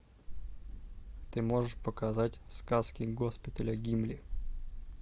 ты можешь показать сказки госпиталя гимли